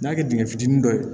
N'a kɛ dingɛ fitinin dɔ ye